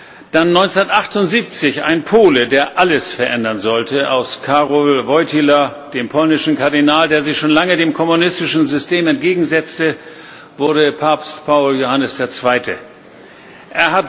Dann 1978 ein Pole, der alles verändern sollte Aus Karol Wojtyła, dem polnischen Kardinal, der sich schon lange dem kommunistischen System entgegensetzte, wurde Papst Johannes Paul II.